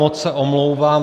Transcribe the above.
Moc se omlouvám.